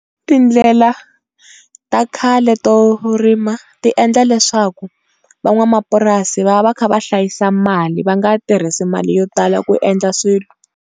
Tindlela ta khale to rima ti endla leswaku van'wamapurasi va va va kha va hlayisa mali va nga tirhisa mali yo tala ku endla swilo.